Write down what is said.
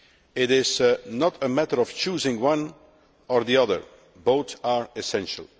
It is not a matter of choosing one or the other both are essential.